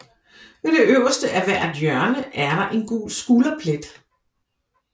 Ved det øverste af hvert hjørne er der en gul skulderplet